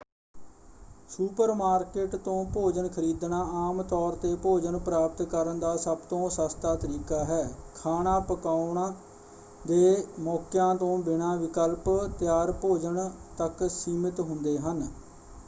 Supermarket ਤੋਂ ਭੋਜਨ ਖਰੀਦਣਾ ਆਮ ਤੌਰ 'ਤੇ ਭੋਜਨ ਪ੍ਰਾਪਤ ਕਰਨ ਦਾ ਸਭ ਤੋਂ ਸਸਤਾ ਤਰੀਕਾ ਹੈ। ਖਾਣਾ ਪਕਾਉਣ ਦੇ ਮੌਕਿਆਂ ਤੋਂ ਬਿਨਾਂ ਵਿਕਲਪ ਤਿਆਰ ਭੋਜਨ ਤੱਕ ਸੀਮਿਤ ਹੁੰਦੇ ਹਨ।